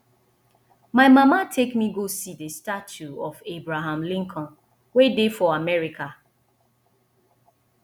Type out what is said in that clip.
my mama take me go see the statue of abraham lincoln wey dey for america